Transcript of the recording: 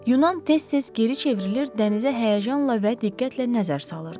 Yunan tez-tez geri çevrilir, dənizə həyəcanla və diqqətlə nəzər salırdı.